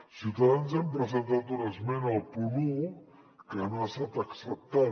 ciutadans hem presentat una esmena al punt un que no ha estat acceptada